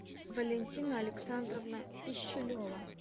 валентина александровна пищулева